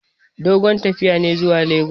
Dogon tafiya ne zuwa legas.